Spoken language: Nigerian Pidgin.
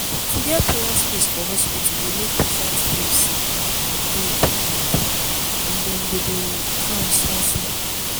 to get prayer space for hospital dey make patients feel say dem important and dem go dem go dey calm small.